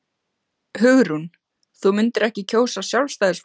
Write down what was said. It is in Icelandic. Hugrún: Þú myndir ekki kjósa Sjálfstæðisflokkinn?